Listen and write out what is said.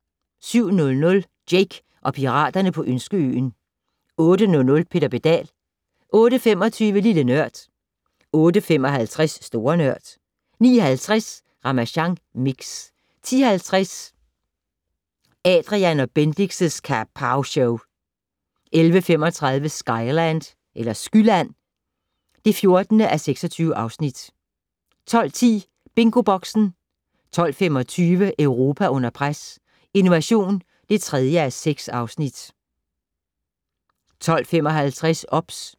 07:00: Jake og piraterne på Ønskeøen 08:00: Peter Pedal 08:25: Lille Nørd 08:55: Store Nørd 09:50: Ramasjang Mix 10:50: Adrian & Bendix' Kapowshow 11:35: Skyland (14:26) 12:10: BingoBoxen 12:25: Europa under pres - Innovation (3:6) 12:55: OBS